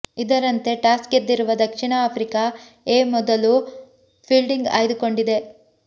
ಇದರಂತೆ ಟಾಸ್ ಗೆದ್ದಿರುವ ದಕ್ಷಿಣ ಆಫ್ರಿಕಾ ಎ ಮೊದಲು ಫೀಲ್ಡಿಂಗ್ ಆಯ್ದುಕೊಂಡಿದೆ